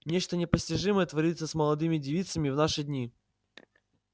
нечто непостижимое творится с молодыми девицами в наши дни